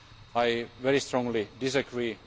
I very strongly disagree.